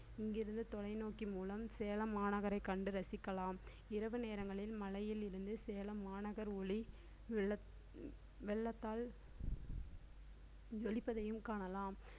இங்கிருந்து தொலைநோக்கி மூலம் சேலம் மாநகரைக் கண்டு ரசிக்கலாம் இரவு நேரங்களில் மலையில் இருந்து சேலம் மாநகர் ஒளி வெள்ளத்~ வெள்ளத்தால் ஜொலிப்பதையும் காணலாம்